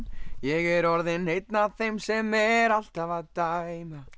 ég er orðinn einn af þeim sem er alltaf að dæma